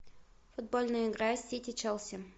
футбольная игра сити челси